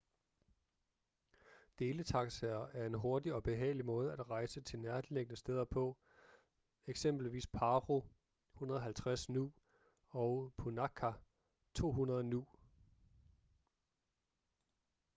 deletaxaer er en hurtig og behagelig måde at rejse til nærliggende steder på eksempelvis paro 150 nu og punakha 200 nu